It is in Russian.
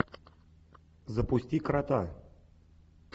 запусти крота